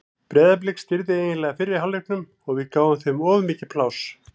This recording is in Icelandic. Breiðablik stýrði eiginlega fyrri hálfleiknum og við gáfum þeim of mikið pláss.